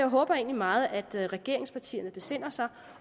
håber jeg meget at regeringspartierne besinder sig